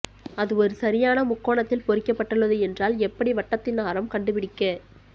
அது ஒரு சரியான முக்கோணத்தில் பொறிக்கப்பட்டுள்ளது என்றால் எப்படி வட்டத்தின் ஆரம் கண்டுபிடிக்க